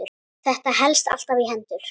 Þetta helst alltaf í hendur.